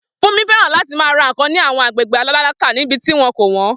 Funke fẹ́ràn láti ra nkan ní àwọn agbègbè tálákà níbi tí wọn kò wọ́n.